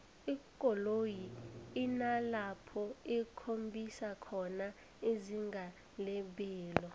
ikoloyi inalapho ikhombisa khona izinga lebelo